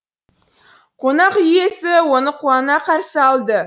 қонақ үй иесі оны қуана қарсы алды